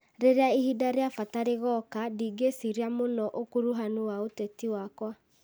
Rĩrĩa ihinda rĩa bata rĩgoka, ndigĩciria mũno ũkuruhanu wa ũteti wakwa,